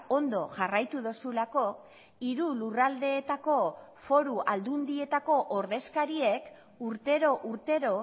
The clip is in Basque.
ondo jarraitu duzulako hiru lurraldeetako foru aldundietako ordezkariek urtero urtero